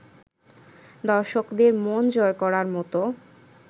দর্শকদের মন জয় করার মতো